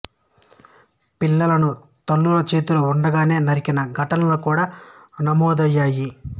పిల్లలను తల్లుల చేతిలో ఉండగానే నరికిన ఘటనలు కూడా నమోదయ్యాయి